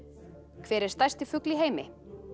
hver er stærsti fugl í heimi